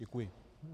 Děkuji.